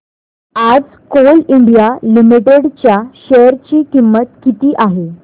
आज Coal India Limited च्या share ची किंमत किती आहे